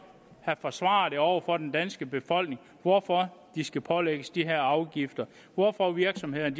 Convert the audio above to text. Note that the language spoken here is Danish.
havde forsvaret over for den danske befolkning hvorfor den skal pålægges de her afgifter hvorfor virksomhederne